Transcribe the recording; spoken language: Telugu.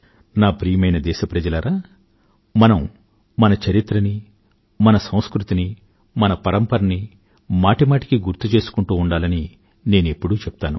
ప్రియమైన నా దేశప్రజలారా మనం మన చరిత్రనీ మన సంస్కృతినీ మన పరంపరనీ మాటిమాటికీ గుర్తు చేసుకుంటూ ఉండాలని నేను ఎప్పుడూ చెప్తాను